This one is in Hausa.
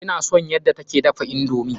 Ina son yadda ta ke dafa indomi.